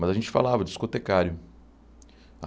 Mas a gente falava discotecário.